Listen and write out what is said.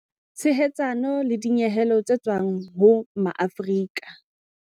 Tshehetsano le dinyehelo tse tswang ho Maafrika.